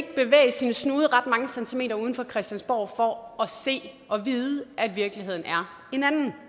sin snude ret mange centimeter uden for christiansborg for at se og vide at virkeligheden er en anden